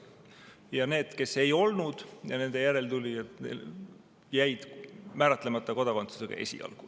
Ja need, kes ei olnud, ja nende järeltulijad jäid määratlemata kodakondsusega esialgu.